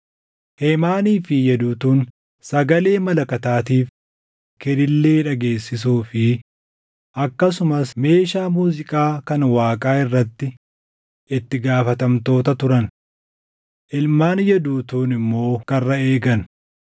Heemaanii fi Yeduutuun sagalee malakataatiif kilillee dhageessisuu fi akkasumas meeshaa muuziiqaa kan Waaqaa irratti itti gaafatamtoota turan. Ilmaan Yeduutuun immoo karra eegan.